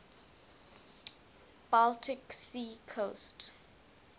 baltic sea coast